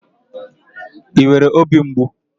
I nwere óbì mgbu?